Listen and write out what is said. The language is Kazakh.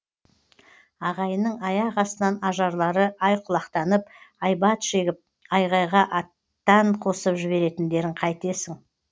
ағайынның аяқ астынан ажарлары айқұлақтанып айбат шегіп айғайға аттан қосып жіберетіндерін қайтесің